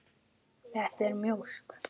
Þetta er mjólk.